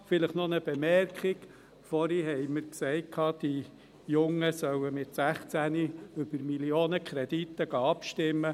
Vielleicht noch eine Bemerkung: Vorhin sagten wir, die Jungen sollen mit 16 über Millionenkredite abstimmen.